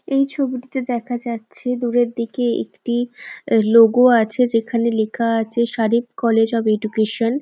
এই ছবিটিতে দেখা যাচ্ছে দূরের দিকে একটি লোগো আছে। যেখানে লেখা আছে শারেফ কলেজ অফ এডুকেশন ।